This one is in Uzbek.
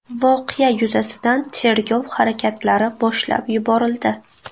Voqea yuzasidan tergov harakatlari boshlab yuborildi.